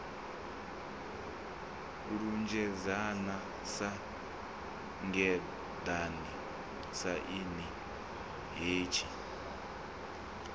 lunzhedzana sa ngeḓane tshaini hetshi